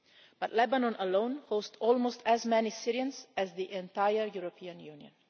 but Lebanon alone hosts almost as many Syrians as the entire European Union.